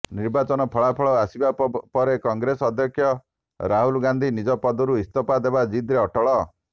ନିର୍ବାଚନ ଫଳାଫଳ ଆସିବା ପରେ କଂଗ୍ରେସ ଅଧ୍ୟକ୍ଷ ରାହୁଲ ଗାନ୍ଧୀ ନିଜ ପଦରୁ ଇସ୍ତଫା ଦେବା ଜିଦରେ ଅଟଳ